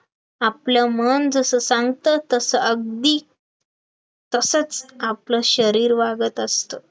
आपल्या मन जसं सांगत तसं अगदी तसंच आपलं शरीर वागत असतं